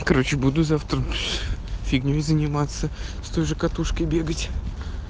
короче буду завтра фигней заниматься с той же катушкой бегать